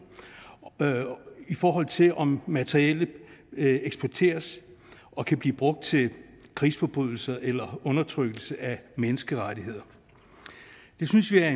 i forhold til om materiellet eksporteres og kan blive brugt til krigsforbrydelser eller undertrykkelse af menneskerettigheder det synes vi er